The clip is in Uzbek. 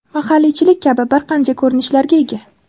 mahalliychilik kabi bir qancha ko‘rinishlarga ega.